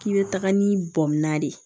K'i bɛ taga ni bɔnna de ye